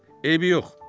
Eybi yox.